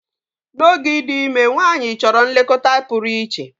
N'oge ịdị ime, nwanyị chọrọ nlekọta pụrụ iche.